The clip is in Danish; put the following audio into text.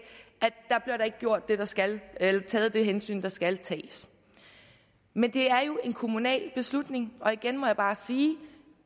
ikke bliver gjort det der skal eller taget det hensyn der skal tages men det er jo en kommunal beslutning og igen må jeg bare sige